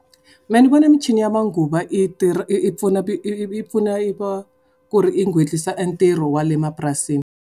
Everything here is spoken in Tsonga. Mehe ni vona michini ya manguva i tirha i i pfuna i i pfuna i va, ku ri i entirho wa le emapurasini.